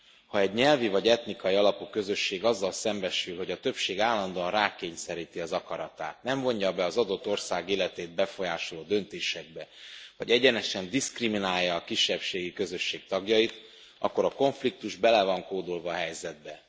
Ha egy nyelvi vagy etnikai alapú közösség azzal szembesül, hogy a többség állandóan rákényszeríti az akaratát, nem vonja be az adott ország életét befolyásoló döntésekbe, vagy egyenesen diszkriminálja a kisebbségi közösség tagjait, akkor a konfliktus bele van kódolva a helyzetbe.